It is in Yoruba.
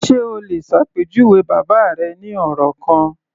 Ṣe o lè ṣàpèjúwe bàbá rẹ ní ọ̀rọ̀ kan?